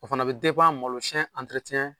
O fana be malo siɲɛ